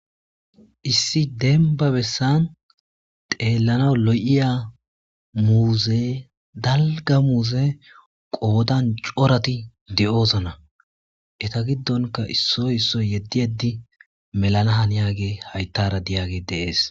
issi denba bessan teellana lo7iya muuze dalga muuze qoodan corati de7ozana eta giddonka issoy isso yeddi eddi melana haniyage hayttara diyagi deees